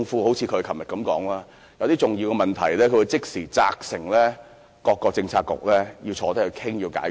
正如她昨天所說，遇上一些重要問題，她會即時責成各政策局坐下來商討、解決。